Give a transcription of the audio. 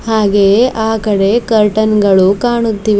ಹಾಗೆ ಆ ಕಡೆ ಕರ್ಟನ್ ಗಳು ಕಾಣುತ್ತಿವೆ.